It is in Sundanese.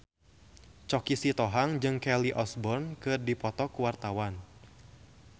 Choky Sitohang jeung Kelly Osbourne keur dipoto ku wartawan